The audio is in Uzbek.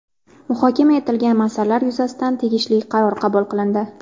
Muhokama etilgan masalalar yuzasidan tegishli qaror qabul qilindi.